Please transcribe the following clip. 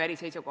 Aitäh!